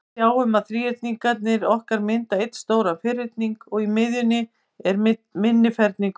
Við sjáum að þríhyrningarnir okkar mynda einn stóran ferning, og í miðjunni er minni ferningur.